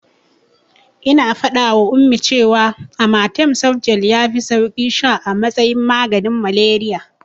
Ina faɗawa Ummi cewa amatem softgel yafi sauki sha a matsayin maganin malariya.